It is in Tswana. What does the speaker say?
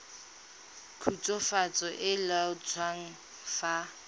khutswafatso e e laotsweng fa